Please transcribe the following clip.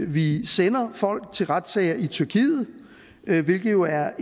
vi sender folk til retssager i tyrkiet hvilket jo er